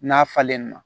N'a falen na